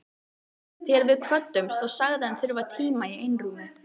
Þegar við kvöddumst þá sagðist hann þurfa tíma í einrúmi.